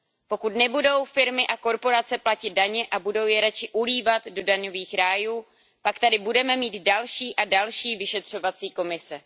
Pokud nebudou firmy a korporace platit daně a budou je raději ulívat do daňových rájů, pak tady budeme mít další a další vyšetřovací komise.